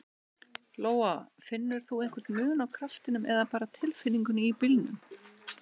Lóa: Finnur þú einhver mun á kraftinum eða bara tilfinningunni í bílnum?